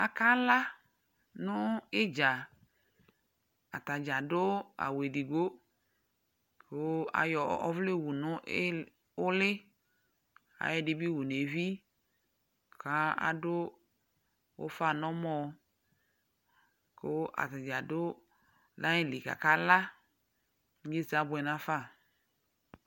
Akala nʋ ɩdza Ata dza adʋ awʋ edigbo kʋ ayɔ ɔvlɛ wu nʋ ɩlɩ ʋlɩ Ayɔ ɛdɩ wu nʋ evi kʋ adʋ ʋfa nʋ ɔmɔ kʋ ata dza dʋ nʋ ayili kʋ akala, inyesɛ abʋɛ nafa